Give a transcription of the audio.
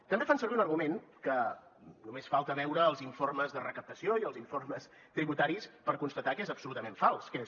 també fan servir un argument que només falta veure els informes de recaptació i els informes tributaris per constatar que és absolutament fals que és